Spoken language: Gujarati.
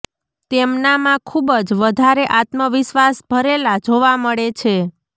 તેમનામાં ખૂબ જ વધારે આત્મવિશ્વાસ ભરેલા જોવા મળે છે